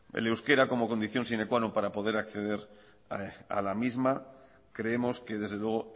el euskera como condición sine qua non para poder acceder a la misma creemos que desde luego